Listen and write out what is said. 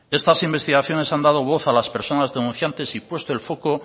estas investigaciones han dado voz a las personas denunciantes y puesto el foco